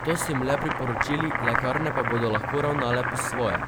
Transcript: To so jim le priporočili, lekarne pa bodo lahko ravnale po svoje.